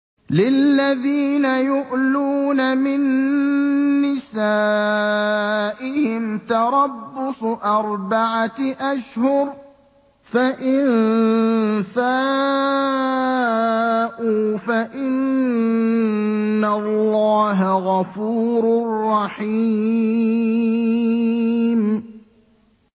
لِّلَّذِينَ يُؤْلُونَ مِن نِّسَائِهِمْ تَرَبُّصُ أَرْبَعَةِ أَشْهُرٍ ۖ فَإِن فَاءُوا فَإِنَّ اللَّهَ غَفُورٌ رَّحِيمٌ